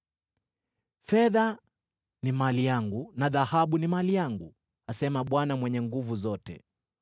‘Fedha ni mali yangu na dhahabu ni mali yangu,’ asema Bwana Mwenye Nguvu Zote.